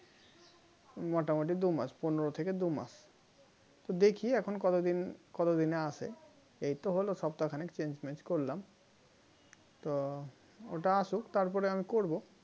মোটামুটি দু মাস পনেরো থেকে দু মাস দেখি এখন কতদিন কতদিনে আসে এই তো হলো সপ্তাহ খানিক change mange করলাম তো ওটা আসুক তারপরে আমি করব